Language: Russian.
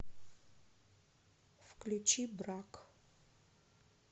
включи брак